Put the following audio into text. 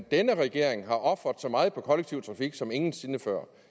denne regering har ofret så meget på kollektiv trafik som ingen sinde før